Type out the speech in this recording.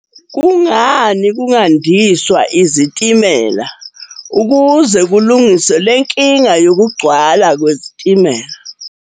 Kungani kungandiswa izitimela, ukuze kulungiswe le nkinga yokugcwala kwezitimela?